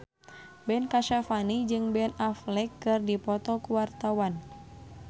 Ben Kasyafani jeung Ben Affleck keur dipoto ku wartawan